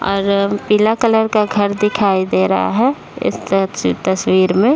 और पीला कलर का घर दिखाई दे रहा है इस त तस्वीर में --